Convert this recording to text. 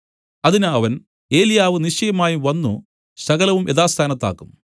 അതിന് അവൻ ഏലിയാവ് നിശ്ചയമായും വന്നു സകലവും യഥാസ്ഥാനത്താക്കും